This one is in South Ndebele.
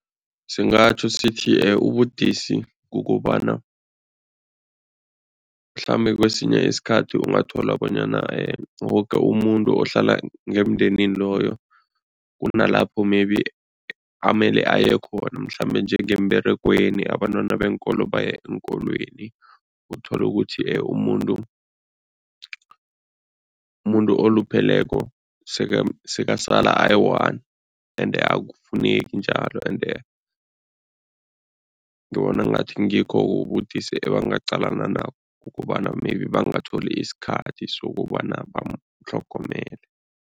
Singatjho sithi ubudisi kukobana mhlambe kwesinye isikhathi ungathola bonyana woke umuntu ohlala ngemndenini loyo kunalapho maybe amele aye khona mhlambe njengemberegweni, abantwana beenkolo baye eenkolweni, uthole ukuthi umuntu umuntu olupheleko sekasala ayi-one ende akufuneki njalo ende ngibona ngathi ngikho ubudisi ebangaqalana nabo, kukobana maybe bangatholi isikhathi sokobana bamtlhogomele.